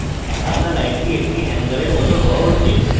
আঁকা লাইনটি একটি hanger মত হওয়া উচিত